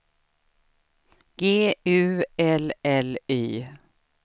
G U L L Y